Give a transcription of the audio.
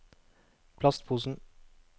plastposen